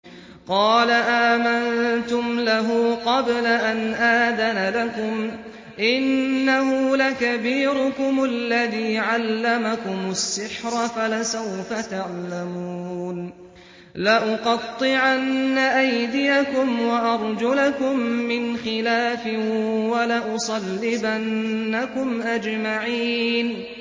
قَالَ آمَنتُمْ لَهُ قَبْلَ أَنْ آذَنَ لَكُمْ ۖ إِنَّهُ لَكَبِيرُكُمُ الَّذِي عَلَّمَكُمُ السِّحْرَ فَلَسَوْفَ تَعْلَمُونَ ۚ لَأُقَطِّعَنَّ أَيْدِيَكُمْ وَأَرْجُلَكُم مِّنْ خِلَافٍ وَلَأُصَلِّبَنَّكُمْ أَجْمَعِينَ